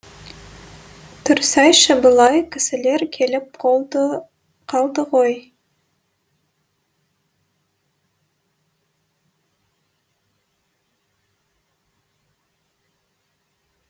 тұрсайшы былай кісілер келіп қалды ғой